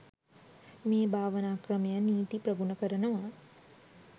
මේ භාවනා ක්‍රමය නිති ප්‍රගුණ කරනවා.